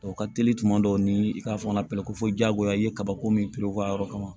O ka teli tuma dɔw ni i ka fɔnɔnpe ko fɔ jagoya i ye kabako min piriw ka yɔrɔ kama